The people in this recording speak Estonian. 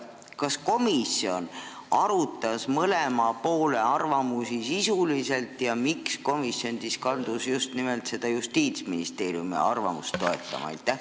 Kas komisjon arutas mõlema poole arvamusi sisuliselt ja miks komisjon kaldus just nimelt Justiitsministeeriumi arvamust toetama?